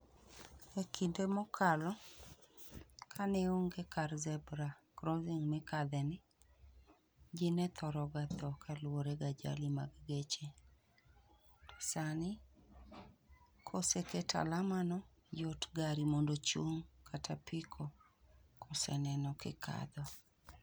E kinde mokalo, ka ne onge kar zebra crossing mikadhe ni, ji ne thoro ga thoo kaluwore gi ajali mag geche. Sani, koseket alama no, yot gari mondo ochung' kata apiko, kose neno kikadho.